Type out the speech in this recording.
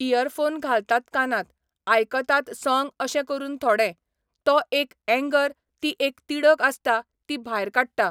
Year phone घालतात कानांत, आयकतात सोंग अशे करून थोडे, तो एक एंगर ती एक तिडक आसता ती भायर काडटा.